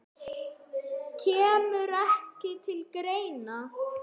Kemur ekki til greina.